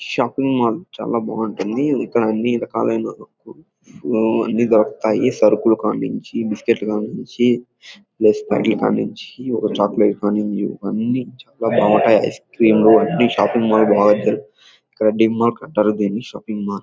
shopping mall చాల బాగుంటుంది ఇక్కడ అన్ని రకాలైన ఆ అన్నీ దొరుకుతాయి సరకులు కానుంచి బిస్క్యూట్ లు కానుంచి లేస్ ప్యాకెట్ కానుంచి చాక్లెట్ కాని ఇవన్నీ చాల బావుంటాయి ఐస్ క్రీం అన్ని షాపింగ్ మాల్ లో బాగా దొరుకుతాయి దీన్ని ఇక్కడ డీమర్ట్ అంటారు దీన్ని షాపింగ్ మాల్ --